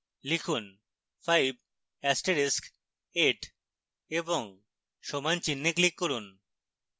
লিখুন 5 এস্টেরিক্স 8 এবং সমান চিহ্নে click করুন